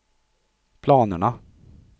planerna